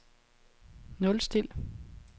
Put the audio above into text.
nulstil